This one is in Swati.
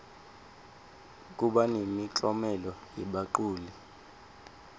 kuba nemiklomelo yebaculi